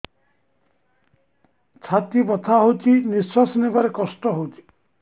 ଛାତି ବଥା ହଉଚି ନିଶ୍ୱାସ ନେବାରେ କଷ୍ଟ ହଉଚି